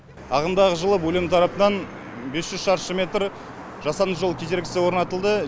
ағымдағы жылы бөлім тарапынан бес жүз шаршы метр жасанды жол кедергісі орнатылды